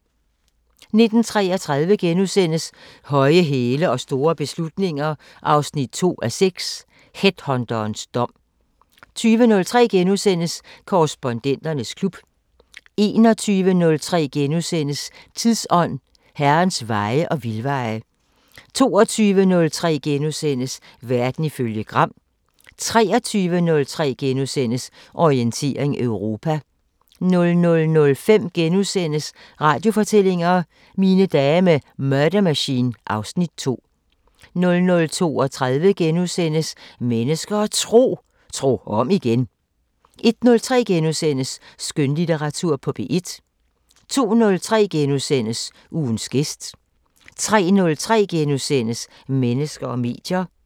19:33: Høje hæle og store beslutninger 2:6 – Headhunterens dom * 20:03: Korrespondenternes klub * 21:03: Tidsånd: Herrens veje og vildveje * 22:03: Verden ifølge Gram * 23:03: Orientering Europa * 00:05: Radiofortællinger: Mine dage med Murder Machine (Afs. 2)* 00:32: Mennesker og Tro: Tro om igen * 01:03: Skønlitteratur på P1 * 02:03: Ugens gæst * 03:03: Mennesker og medier *